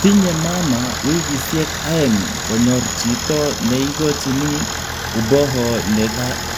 Tinye mamaa wikisyek aeng konyor chito ne igochin uboho ne